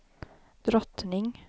drottning